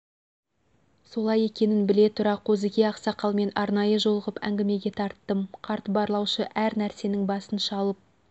солай екенін біле тұра қозыке ақсақалмен арнайы жолығып әңгімеге тарттым қарт барлаушы әр нәрсенің басын шалып